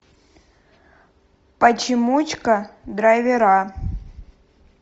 почемучка драйвера